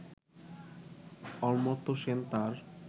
অমর্ত্য সেন তাঁর